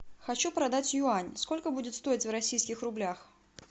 хочу продать юань сколько будет стоить в российских рублях